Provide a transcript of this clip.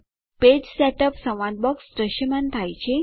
page setup સંવાદ box દ્રશ્યમાન થાય છે